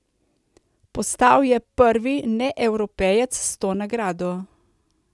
Postal je prvi Neevropejec s to nagrado.